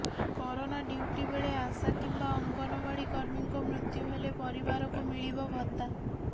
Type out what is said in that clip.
corona duty ବେଳେ ଆଶା କିମ୍ବା ଅଙ୍ଗନବାଡି କର୍ମୀଙ୍କ ମୃତ୍ୟୁ ହେଲେ ପରିବାରକୁ ମିଳିବ ଭତ୍ତା